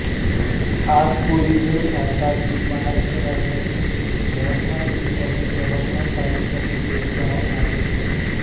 आकपुरी हे भारतातील महाराष्ट्र राज्यातील यवतमाळ जिल्ह्यातील यवतमाळ तालुक्यातील एक गाव आहे